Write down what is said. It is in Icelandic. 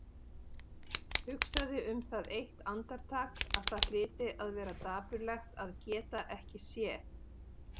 Hugsaði um það eitt andartak að það hlyti að vera dapurlegt að geta ekki séð.